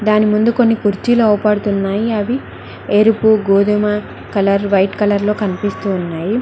దాని ముందు కొన్ని కుర్చీలో అవపడుతున్నాయి అవి ఏరుపు గోధుమ కలర్ వైట్ కలర్ లో కనిపిస్తూ ఉన్నాయి.